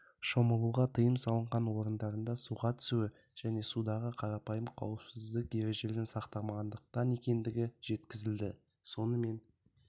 шомылуға тыйым салынған орындарында суға түсуі және судағы қарапайым қауіпсіздік ережелерін сақтамағандықтан екенідігі жеткізілді сонымен